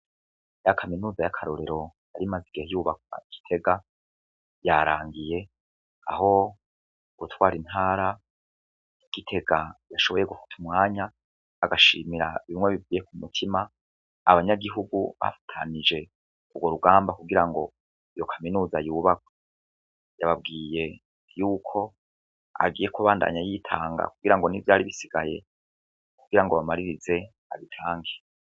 Ya kaminuza y'akarorero yarimaze igihe yubakwa I gitega yarangiye aho uwutwara intara gitega yashoboye gufata umwanya agashimira bimwe bivuye ku mutima abanyagihugu bafatanyije ugwo rugamba kugirango iyo kaminuza yubakwe, yababwiye yuko agiye kubandanya yitanga kugirango n'ivyari bisigaye kugirango bamaririze abitange.